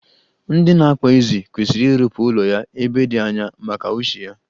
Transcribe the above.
Ndị na-akpa ezi kwesiri irụpụ ụlọ ya ebe di anya, maka ushi ya.